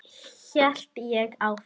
hélt ég áfram.